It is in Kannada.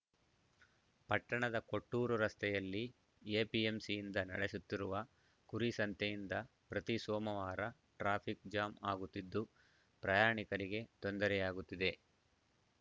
ಪಟ್ಟಣದ ಕೊಟ್ಟೂರು ರಸ್ತೆಯಲ್ಲಿ ಎಪಿಎಂಸಿಯಿಂದ ನಡೆಸುತ್ತಿರುವ ಕುರಿ ಸಂತೆಯಿಂದ ಪ್ರತಿ ಸೋಮವಾರ ಟ್ರಾಫಿಕ್‌ ಜಾಮ್‌ ಆಗುತ್ತಿದ್ದು ಪ್ರಯಾಣಿಕರಿಗೆ ತೊಂದರೆಯಾಗುತ್ತಿದೆ